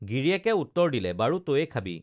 গিৰিয়েকে উত্তৰ দিলে বাৰু তয়ে খাবি